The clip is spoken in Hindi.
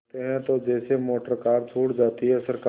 बोलते हैं तो जैसे मोटरकार छूट जाती है सरकार